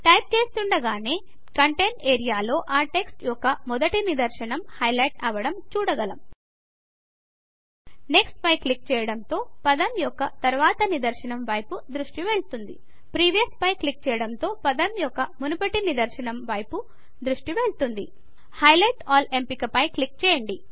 type చేస్తుండగానే content ఏరియాలో ఆ టెక్స్ట్ యొక్క మొదటి నిదర్శనము హైలైట్ అవ్వడం చూడగలం నెక్స్ట్ నెక్స్ట్ పై క్లిక్ చేయడం తో పదం యొక్క తరువాతి నిదర్శనము వైపు దృష్టి వెళ్తుంది ప్రీవియస్ పై క్లిక్ చేయడం తో పదం యొక్క మునుపటి నిదర్శనము వైపు దృష్టి వెళ్తుంది హైలైట్ ఆల్ ఎంపిక పై క్లిక్ చేయండి